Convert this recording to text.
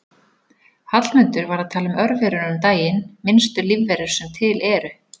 Hallmundur var að tala um örverur um daginn, minnstu lífverur sem til eru.